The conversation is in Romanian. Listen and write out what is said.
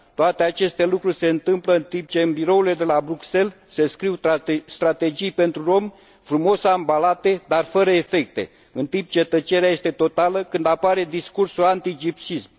Toate aceste lucruri se întâmplă în timp ce, în birourile de la Bruxelles, se scriu strategii pentru romi frumos ambalate, dar fără efecte, în timp ce tăcerea este totală când apare discursul anti gypsyism.